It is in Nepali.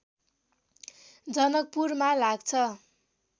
जनकपुरमा लाग्छ